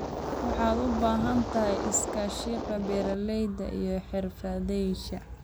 Waxaad u baahan tahay iskaashiga beeralayda iyo xirfadlayaasha.